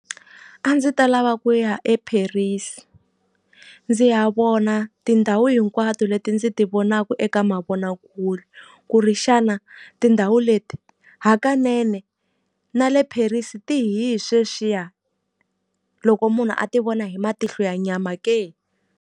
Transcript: A ndzi ta lava ku ya eParis, ndzi ya vona tindhawu hinkwato leti ndzi ti vonaka eka mavonakule. Ku ri xana tindhawu leti hakanene na le Paris ti hi hi sweswiya loko munhu a ti vona hi matihlo ya nyama ke?